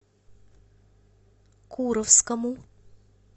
куровскому